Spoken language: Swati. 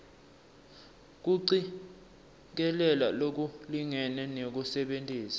kucikelela lokulingene nekusebentisa